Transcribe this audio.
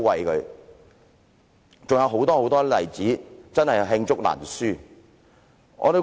還有很多很多例子，真是罄竹難書。